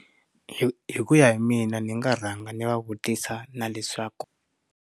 Hi hikuya hi mina ni nga rhanga ni va vutisa na leswaku.